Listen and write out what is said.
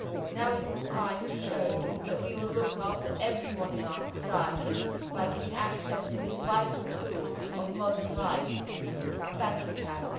Now is the time to show that we will look after everyone in our society by giving access to this vital tool of modern life a bank account.